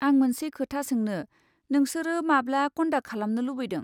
आं मोनसे खोथा सोंनो, नोंसोरो माब्ला कन्डाक खालामनो लुबैदों?